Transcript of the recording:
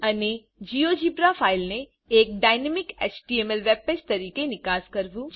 અને જીઓજીબ્રા ફાઈલને એક ડાયનામિક એચટીએમએલ વેબ પેજ તરીકે નિકાસ કરવું